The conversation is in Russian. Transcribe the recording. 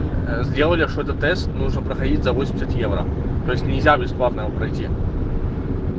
сделали что-то тест нужно проходить за восемьдесят евро то есть нельзя бесплатно его пройти